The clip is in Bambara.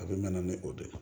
A bɛ na ni o de ye